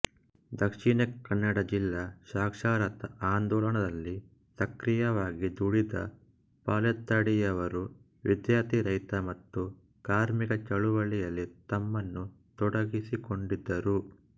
ದಕ್ಷಿಣ ಕನ್ನಡ ಜಿಲ್ಲಾ ಸಾಕ್ಷರತಾ ಆಂದೋಳನದಲ್ಲಿ ಸಕ್ರಿಯವಾಗಿ ದುಡಿದ ಪಾಲೆತ್ತಾಡಿಯವರು ವಿದ್ಯಾರ್ಥಿ ರೈತ ಮತ್ತು ಕಾರ್ಮಿಕ ಚಳುವಳಿಯಲ್ಲಿ ತಮ್ಮನ್ನು ತೊಡಗಿಸಿಕೊಂಡಿದ್ದರು